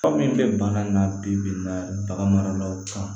Aw min bɛ baara in na bi-bi in na baganmaraw kan